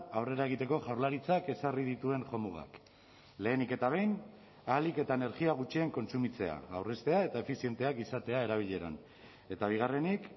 aurrera egiteko jaurlaritzak ezarri dituen jomugak lehenik eta behin ahalik eta energia gutxien kontsumitzea aurreztea eta efizienteak izatea erabileran eta bigarrenik